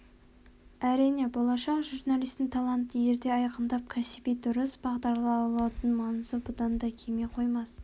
әрине болашақ журналистің талантын ерте айқындап кәсіби дұрыс бағдарлаудың маңызы бұдан кеми қоймас